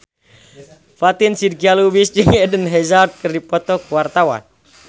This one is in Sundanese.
Fatin Shidqia Lubis jeung Eden Hazard keur dipoto ku wartawan